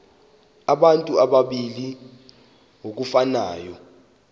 abantu abalili ngokufanayo